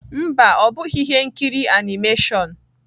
Mba, ọ bụghị ihe nkiri animation.